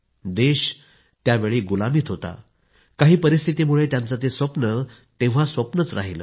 देश तेव्हा गुलामीत होता काही परिस्थितीमुळे त्यांचं ते स्वप्न तेव्हा स्वप्नच राह्यलं